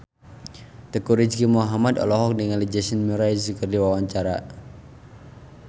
Teuku Rizky Muhammad olohok ningali Jason Mraz keur diwawancara